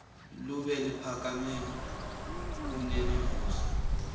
lunbe luphakame kunemivuzo